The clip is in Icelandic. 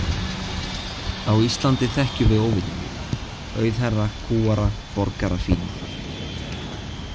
Á Íslandi þekkjum við óvini þína: auðherra, kúgara, borgara „fína“.